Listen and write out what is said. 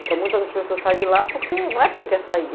Então, muitas pessoas saem de lá, não é porque querem sair.